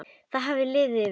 Það hafði liðið yfir hana!